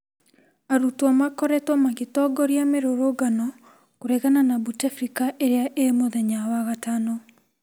Arutwo makoretwo magitongoria mirurungano kũregana na Bouteflika irĩa ĩ mũthenya wa gatano.